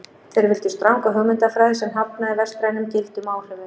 Þeir vildu stranga hugmyndafræði sem hafnaði vestrænum gildum og áhrifum.